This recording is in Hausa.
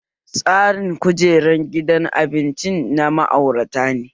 Tsarin kujerin gidan abincin na ma'aurata ne